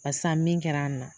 Barisa min kɛra an na,